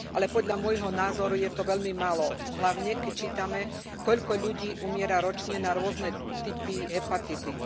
Podľa môjho názoru je to veľmi málo, hlavne, keď čítame, koľko ľudí umiera ročne na rôzne typy hepatitíd.